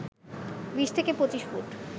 ২০ থেকে ২৫ ফুট